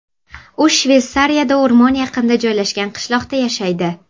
U Shveysariyada o‘rmon yaqinida joylashgan qishloqda yashaydi.